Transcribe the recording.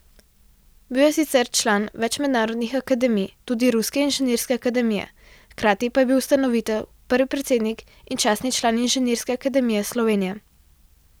Bil je sicer član več mednarodnih akademij, tudi ruske inženirske akademije, hkrati pa je bil ustanovitelj, prvi predsednik in častni član Inženirske akademije Slovenije.